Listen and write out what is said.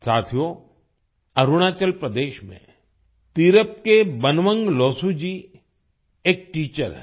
साथियो अरुणाचल प्रदेश में तिरप के बनवंग लोसू जी एक टीचर हैं